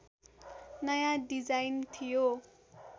नयाँ डिजाइन थियो